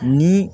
Ni